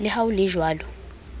le ha ho le jwalo